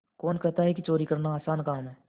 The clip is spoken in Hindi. कौन कहता है कि चोरी करना आसान काम है